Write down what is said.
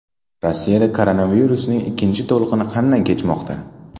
Rossiyada koronavirusning ikkinchi to‘lqini qanday kechmoqda?